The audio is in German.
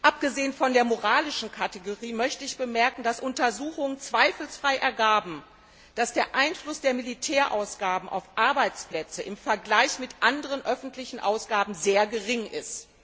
Abgesehen von der moralischen Kategorie möchte ich bemerken, dass Untersuchungen zweifelsfrei ergaben, dass der Einfluss der Militärausgaben auf Arbeitsplätze im Vergleich mit anderen öffentlichen Ausgaben sehr gering ist.